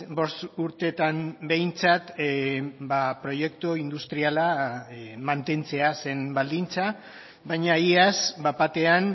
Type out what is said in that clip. bost urtetan behintzat proiektu industriala mantentzea zen baldintza baina iaz bat batean